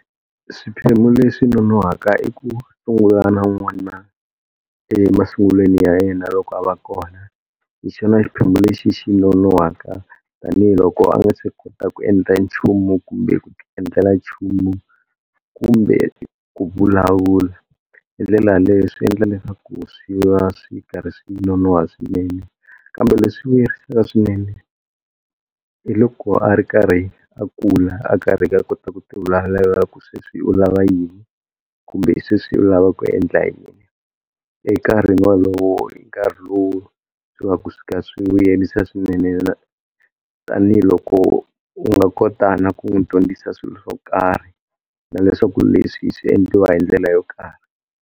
Swiphemu leswi nonoka i ku sungula na n'wana emasungulweni ya yena loko a va kona, hi xona xiphemu lexi xi nonohwaka tanihiloko a nga se kota ku endla nchumu kumbe ku tiendlela nchumu kumbe ku vulavula. Hi ndlela yaleyo swiendla leswaku swi va swi karhi swi nonoha swinene. Kambe leswi vuyerisaka swinene hi loko a ri karhi a kula a karhi a kota ku ti vulavulela ku sweswi u lava yini kumbe sweswi u lava ku endla yini, enkarhini wolowo i nkarhi lowu swi va ku swo ka swi vuyerisa swinene na tanihiloko u nga kotaka ku n'wi dyondzisa swilo swo karhi na leswaku leswi swi endliwa hi ndlela yo karhi.